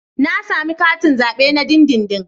Na sami katin zabe na dindindin.